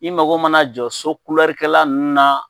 I mago mana jɔ sokulɛrukɛla nunnu na